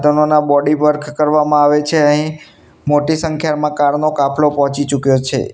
તનોના body work કરવામાં આવે છે અહીં મોટી સંખ્યામાં કાર નો કાપલો પોચી ચૂક્યો છે.